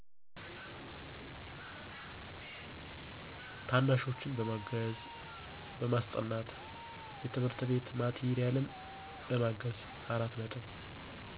ታናሾችን ማገዝ በማሰጠናት የትምህርት ቤት ማቴሪያል በማገዝ።